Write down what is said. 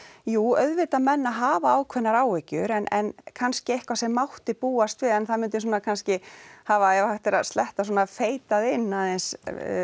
jú auðvitað menn að hafa ákveðnar áhyggjur en kannski eitthvað sem mátti búast við en það myndi svona kannski hafa ef hægt er að sletta svona fade að inn aðeins